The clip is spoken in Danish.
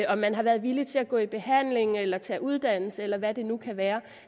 om man har været villig til at gå i behandling eller tage uddannelse eller hvad det nu kan være